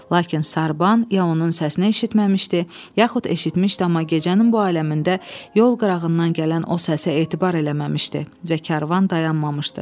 Lakin sarban ya onun səsini eşitməmişdi, yaxud eşitmişdi, amma gecənin bu aləmində yol qırağından gələn o səsə etibar eləməmişdi və karvan dayanmamışdı.